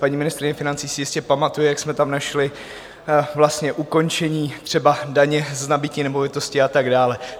Paní ministryně financí si jistě pamatuje, jak jsme tam našli vlastně ukončení třeba daně z nabytí nemovitosti a tak dále.